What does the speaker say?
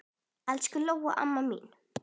Elsku Lóa amma mín.